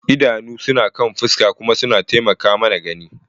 Idanu suna kan fuska kuma suna taimaka mana gani.